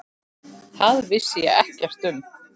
Það vissi ég ekkert um.